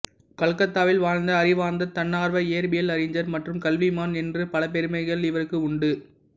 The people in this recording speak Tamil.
கல்கத்தாவில் வாழ்ந்த அறிவார்ந்த தன்னார்வ இயற்பியல் அறிஞர் மற்றும் கல்விமான் என்று பல பெருமைகள் இவருக்கு உண்டு